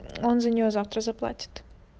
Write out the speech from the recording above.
он за нее завтра заплатит